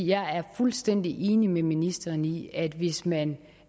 jeg er fuldstændig enig med ministeren i at hvis man